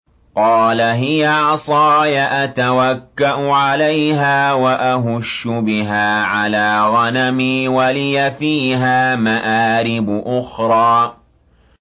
قَالَ هِيَ عَصَايَ أَتَوَكَّأُ عَلَيْهَا وَأَهُشُّ بِهَا عَلَىٰ غَنَمِي وَلِيَ فِيهَا مَآرِبُ أُخْرَىٰ